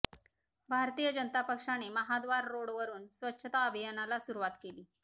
भारतीय जनता पक्षाने महाद्वार रोडवरून स्वच्छता अभियानाला सुरुवात केली